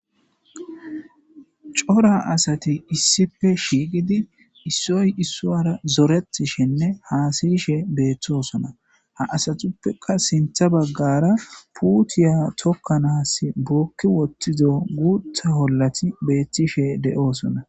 cora asati issife shiiqidi issoy issowyara zoretishenne haasayishe beethtoosona ha asatuppeka sintha baggara puutiya tokkanaas bokki wottizo guutha hollati beettishe de7oosona